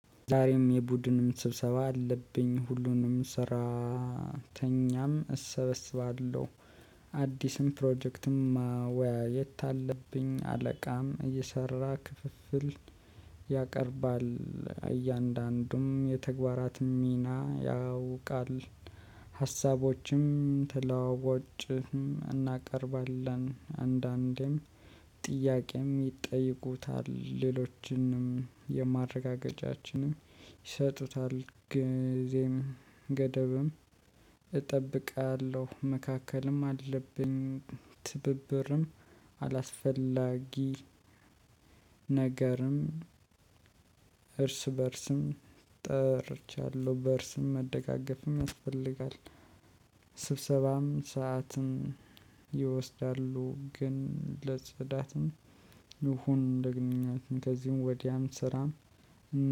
ዛሬም የቡድንም ስብሰባ አለብኝ ሁሉንም ስራተኛም እሰበስባለሁ። አዲስም ፕሮጀክትም ወይ የት አለብኝ አለቃም እየሰራ ክፍፍል። ያቀርባል እያንዳንዱም የተግባራት ሚና ያውቃል። ሀሳቦችም ትላቦችም እናቀርባለን አንዳንዴም ጥያቄም ይጠይቁታል ሌሎችንም የማረጋገጫችንም ይሰጡታል። ጊዜም ገደብም እጠብቃለሁ። መካከልም አለብኝ ትብብርም አላስፈላጊ ነገርም እርስ በእርስም ጠርቻለሁ በእርስም መደጋገፍም ያስፈልጋል። ስብሰባም ሰዓትን ይወስዳሉ። ግን ለጽዳትም እሁን ለግንኙነትም ከዚህም ወዲያም ስራም